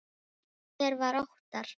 Hver var Óttar?